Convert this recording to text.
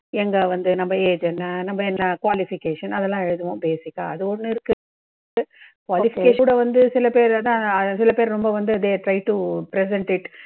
எங்க வந்து நம்ம age என்ன, நம்ம என்ன qualification அதெல்லாம் எழுதுவோம் basic ஆ. அது ஒண்ணு இருக்கு qualification கூட சில பேர் வந்து சில பேர் ரொம்ப வந்து they are trying to present it